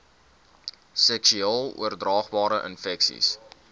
seksueel oordraagbare infeksies